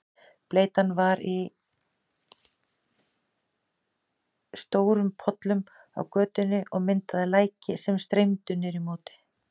Bleytan var í stórum pollum á götunni og myndaði læki sem streymdu niður í móti.